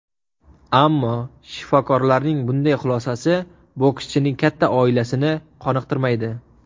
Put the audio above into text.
Ammo shifokorlarning bunday xulosasi bokschining katta oilasini qoniqtirmaydi.